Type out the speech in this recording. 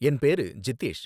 என் பேரு ஜித்தேஷ்